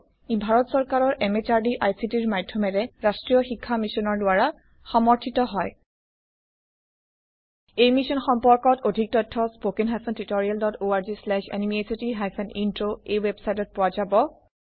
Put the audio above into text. ই ভাৰত চৰকাৰৰ MHRDৰ ICTৰ মাধয়মেৰে ৰাস্ত্ৰীয় শিক্ষা মিছনৰ দ্ৱাৰা সমৰ্থিত হয় এই মিশ্যন সম্পৰ্কত অধিক তথ্য spoken hyphen tutorial dot org slash এনএমইআইচিত হাইফেন ইন্ট্ৰ ৱেবচাইটত পোৱা যাব